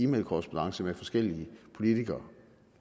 mailkorrespondancer med forskellige politikere